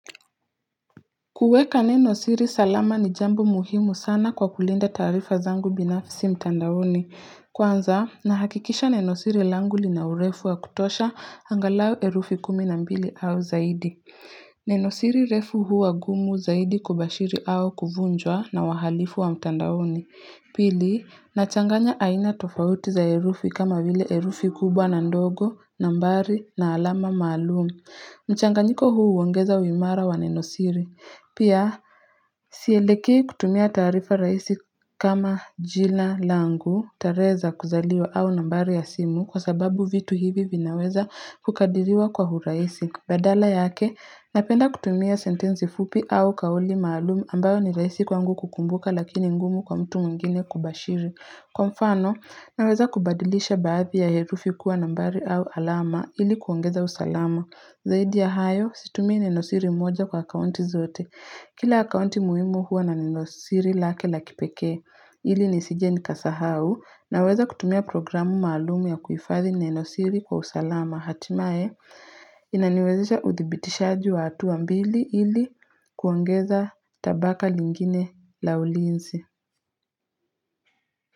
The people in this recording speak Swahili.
Kuweka neno siri salama ni jambu muhimu sana kwa kulinda taarifa zangu binafisi mtandaoni. Kwanza, nahakikisha neno siri langu lina urefu wa kutosha angalau herufi kumi na mbili au zaidi. Nenosiri refu huwa gumu zaidi kubashiri au kuvunjwa na wahalifu wa mtandaoni. Pili, nachanganya aina tofauti za herufi kama vile herufi kubwa na ndogo, nambari, na alama maalum mchanganyiko huu huongeza uimara wa neno siri pia sielekei kutumia taarifa rahisi kama jina langu tarehe za kuzaliwa au nambari ya simu kwa sababu vitu hivi vinaweza kukadiriwa kwa uraisi Badala yake napenda kutumia sentensi fupi au kauli maalumu ambayo ni raisi kwangu kukumbuka lakini ngumu kwa mtu mwengine kubashiri Kwa mfano naweza kubadilisha baadhi ya herufi kuwa nambari au alama ili kuongeza usalama Zaidi ya hayo situmii nenosiri moja kwa akaunti zote Kila akaunti muhimu huwa na nenosiri lake la kipekee, ili nisije nikasahau, naweza kutumia programu maalumu ya kuifadhi nenosiri kwa usalama. Hatimaye, inaniwezesha uthibitishaji wa hatua mbili ili kuongeza tabaka lingine la ulinsi.